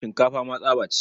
Shinkafa ma tsaba ce.